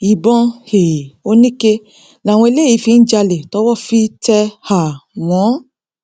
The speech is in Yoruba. ìbọn um oníke làwọn eléyìí fi ń jalè tọwọ fi tẹ um wọn